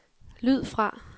lyd fra